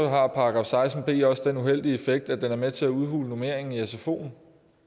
har § seksten b også den uheldige effekt at den er med til at udhule normeringen i sfoen